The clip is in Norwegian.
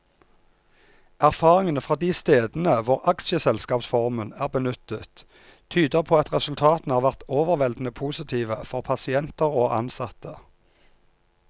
Erfaringene fra de stedene hvor aksjeselskapsformen er benyttet, tyder på at resultatene har vært overveldende positive for pasienter og ansatte.